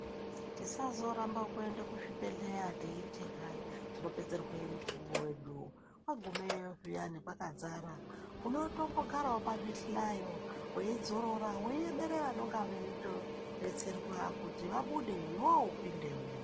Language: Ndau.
Tisazoramba kuenda kuzvibhedhlera teiti hai tinopedzerwe mukuwo wedu, wagumeyo zviyani kwakadzara unotombogarawo pazvihlayo weidzorora , weimera vanonga veitodetserwa kuti vabude iwewe upindewo.